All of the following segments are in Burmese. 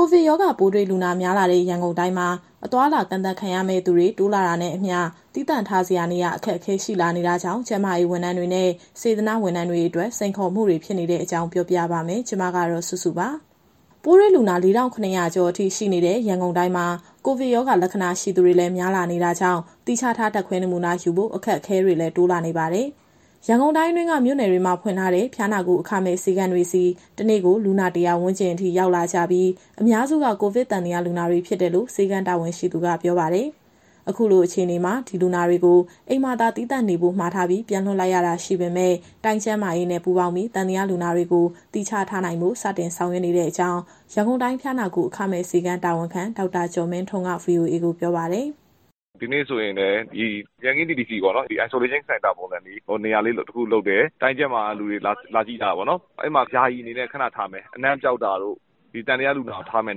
ိုဗစ်ရောဂါပိုးတွေ့လူနာ များလာတဲ့ ရန်ကုန်တိုင်းမှာ အသွားအလာ ကန့်သတ်ရမယ့်သူတွေ တိုးလာတာနဲ့အမျှ သီးသန့်ထားစရာ နေရာအခက်အခဲ ရှိလာနေတာကြောင့် ကျန်းမာရေးဝန်ထမ်းတွေနဲ့ စေတနာ့ဝန်ထမ်းတွေအတွက် စိန်ခေါ်မှုဖြစ်နေတဲ့အကြောင်းပြောပြပါမယ်။ ဒီသတင်းကို ဗွီအိုအေမြန်မာပိုင်း သတင်းထောက် မစုစုက တင်ဆက်ပေးမှာပါ။ ပိုးတွေ့လူနာ ၄,၇၀၀ ကျော်အထိ ရှိနေတဲ့ ရန်ကုန်တိုင်းမှာ ကိုဗစ်ရောဂါလက္ခဏာရှိသူတွေလည်း များလာနေတာကြောင့် သီးခြားထား ဓာတ်ခွဲနမူနာယူဖို့ အခက်အခဲတွေလည်း တိုးလာနေပါတယ်။ ရန်ကုန်တိုင်းအတွင်းက မြို့နယ်တွေမှာ ဖွင့်ထားတဲ့ ဖျားနာကုအခမဲ့ ဆေးခန်းတွေဆီ တနေ့ကို လူနာ ၁၀၀ ဝန်းကျင်အထိ ရောက်လာကြပြီး အများစုက ကိုဗစ်သံသယလူနာတွေဖြစ်တယ်လို့ ဆေးခန်းတာဝန်ရှိသူကပြောပါတယ်။ အခုလိုအခြေအနေမှာ ဒီလူနာတွေကို အိမ်မှာသာ သီးသန့်နေဖို့မှာထားပြီး ပြန်လွှတ်လိုက်ရတာရှိပေမဲ့ တိုင်းကျန်းမာရေးနဲ့ ပူးပေါင်းပြီး သံသယလူနာတွေကို သီးခြားထားနိုင်ဖို့ စတင်ဆောင်ရွက်နေတဲ့အကြောင်း ရန်ကုန်တိုင်းဖျားနာကု အခမဲ့ဆေးခန်းတာဝန်ခံ ဒေါက်တာကျော်မင်းထွန်းက VOA ကိုပြောပါတယ်။ “ဒီနေ့ဆိုရင် ရန်ကင်း TTC မှာ Isolation Center ပုံစံ နေရာလေး တခုလုပ်တယ်။ တိုင်းကျန်းမာရေးက လာကြည့်တယ်။ အဲမှာ ယာယီအနေနဲ့ ခဏထားမယ်၊ အနံ့ပျောက်တာတို့ ဒီသံသယလူနာကို ထားမယ့်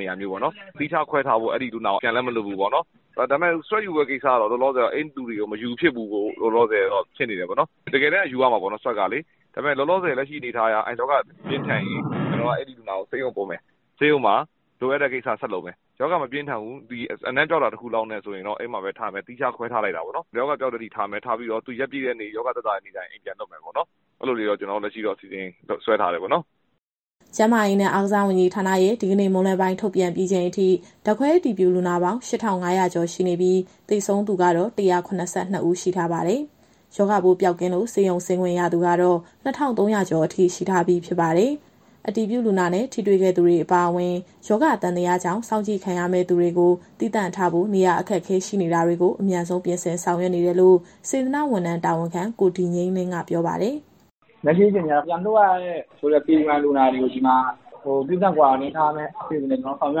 နေရာမျိုးပေါ့နော်။ သီးခြားခွဲထားဖို့ အဲဒီလူနာကိုပြန်လည်း မလွှတ်ဘူးပေါ့နော်။ ဒါပေမဲ့ Swab ယူမယ့်ကိစ္စကတော့ အဲဒီလူတွေကို လောလောဆယ်တော့ မယူဖြစ်ဘူး ဖြစ်နေတယ်။ တကယ်တမ်းကတော့ Swab ယူရမှာပေါ့လေ။ ဒါပေမဲ့ လက်ရှိအနေအထားအရ ရောဂါပြင်းထန်ရင် အဲဒီလူနာကိုဆေးရုံပို့မယ်၊ ဆေးရုံမှာ လိုအပ်တဲ့ကိစ္စ ဆက်လုပ်မယ်။ ရောဂါမပြင်းထန်ဘူး၊ အနံ့ပျောက်တာ တခုလောက်နဲ့ ဆိုရင်တော့ အဲ့ဒီမှာပဲထားမယ်။ သီးခြားခွဲထားလိုက်တာပေါ့နော်။ ရောဂါပျောက်တဲ့အထိထားပြီး ရက်ပြည့်တဲ့နေ့ ရောဂါသက်သာတဲ့အခါကျရင် အိမ်ပြန်လွှတ်မယ်ပေါ့နော်။ အဲလိုလေးတော့ ကျနော်တို့လက်ရှိ အစီအစဉ်ဆွဲထားတယ်ပေါ့နော်။" ကျန်းမာရေးနဲ့ အားကစားဝန်ကြီးဌာနရဲ့ဒီကနေ့မွန်းလွဲပိုင်း ထုတ်ပြန်ပြီးချိန်အထိ ဓာတ်ခွဲအတည်ပြုလူနာပေါင်း ၈,၅၀၀ ကျော်ရှိနေပြီး သေဆုံးသူကတော့ ၁၇၂ ဦးရှိထားပါတယ်။ ရောဂါပိုးပျောက်ကင်းလို့ ဆေးရုံဆင်းခွင့်ရသူကတော့ ၂,၃၀၀ ကျော်ရှိထားပြီးဖြစ်ပါတယ်။ အတည်ပြုလူနာနဲ့ ထိတွေ့ခဲ့သူတွေအပါအဝင် ရောဂါသံသယကြောင့် စောင့်ကြည့်ခံရမယ့်သူတွေကို သီးသန့်ထားဖို့ နေရာအခက်အခဲ ရှိနေတာတွေကို အမြန်ဆုံးပြင်ဆင်ဆောင်ရွက်နေတယ်လို့ စေတနာ့ဝန်ထမ်းတာဝန်ခံ ကိုဒီငြိမ်းလင်းက ပြောပါတယ်။ “လက်ရှိအခြေအနေကတော့ ပြန်လွှတ်ရတယ်ဆိုတဲ့ PUI လူနာတွေကို သီးသန့် Quarantine ထားမယ့် အစီအစဉ်တွေ ကျနော်တို့ဆောင်ရွ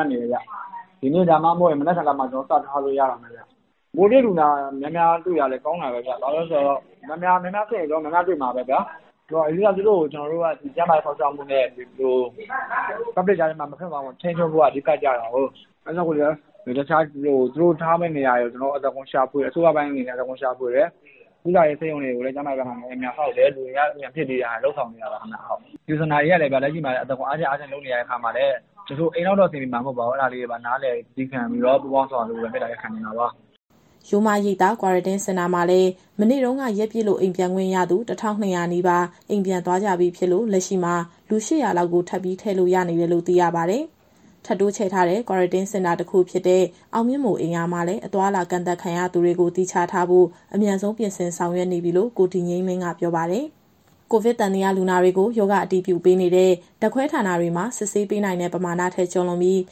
က်နေတယ်ဗျ။ ဒီနေ့ ဒါမှမဟုတ်ရင် မနက်ဖြန်လောက်မှာ စထားလို့ရတော့မယ်ဗျ။ ပိုးတွေ့လူနာများများတွေ့တာလည်း ကောင်းတာပဲဗျ။ ဘာလို့လဲဆိုတော့ များများစစ်ရင် များများတွေ့မှာပဲဗျာ။ အဓိက သူတို့ကို ကျန်းမာရေးစောင့်ရှောက်မှုနဲ့ ပြည်သူတွေကြားထဲမှာ မပြန့်သွားဖို့က အဓိကကျတာကိုး။ အဲဒါကြောင့်မို့လည်း သူတို့ကို ထားမယ့်နေရာတွေကို အစိုးရပိုင်းအနေနဲ့လည်း အသားကုန်ရှာဖွေတယ်။ ကုသရေးဆေးရုံတွေကိုလည်း ကျန်းမာရေးဘက်ကနေ အမြန်ဆောက်တာ၊ လူအင်အား အမြန်ဖြည့်ပေးထားတာတွေ လုပ်ဆောင်နေတာပါခင်ဗျ။ ဒီစင်တာတွေကလည်း လက်ရှိမှာ အသားကုန်အားခြင်းလုပ်နေရတဲ့အခါမှာလည်း တချို့က အိမ်လောက်တော့အဆင်ပြေမှာ မဟုတ်ပါဘူး။ အဲဒါလေးတွေပါ နားလည်သည်းခံပြီးတော့ ပူးပေါင်းဆောင်ရွက်ပေးဖို့ပဲ မေတ္တာရပ်ခံချင်တာပါ။" ရိုးမရိပ်သာ Quarantine Center မှာလည်း မနေ့တုန်းက ရက်ပြည့်လို့အိမ်ပြန်ခွင့်ရသူ ၁,၂၀၀ နီးပါး အိမ်ပြန်သွားကြပြီးဖြစ်လို့ လက်ရှိမှာ လူ ၈၀၀ လောက် ထပ်ပြီးထည့်လို့ရတယ်လို့ သိရပါတယ်။ ထပ်တိုးချဲ့ထားတဲ့ Quarantine Center တခုဖြစ်တဲ့ အောင်မြင့်မိုရ်အိမ်ရာမှာလည်း အသွားအလာကန့်သတ်ခံရသူတွေကို သီးခြားထားဖို့ အမြန်ဆုံးပြင်ဆင်ဆောင်ရွက်နေပြီလို့ ကိုဒီငြိမ်းလင်းက ပြောပါတယ်။ ကိုဗစ်သံသယလူနာတွေကို ရောဂါအတည်ပြုပေးနေတဲ့ ဓာတ်ခွဲဌာနတွေမှာ စစ်ဆေးပေးနိုင်တဲ့ပမာဏထက် ကျော်လွန်ပြီး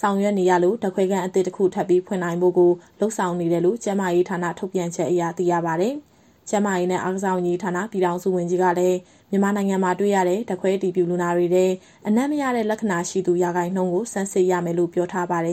ဆောင်ရွက်နေရလို့ ဓာတ်ခွဲခန်းအသစ်တခု ထပ်ပြီးဖွင့်နိုင်ဖို့ကို လုပ်ဆောင်နေတယ်လို့ ကျန်းမာရေးဌာနထုတ်ပြန်ချက်အရ သိရပါတယ်။ ကျန်းမာရေးနဲ့ အားကစားဝန်ကြီးဌာန ပြည်ထောင်စုဝန်ကြီးကလည်း မြန်မာနိုင်ငံမှာ တွေ့ရတဲ့ ဓာတ်ခွဲအတည်ပြုလူနာတွေထဲ အနံ့မရတဲ့လက္ခဏာရှိသူ ရာခိုင်နှုန်းကို ဆန်းစစ်ရမယ်လို့ ပြောထားပါတယ်။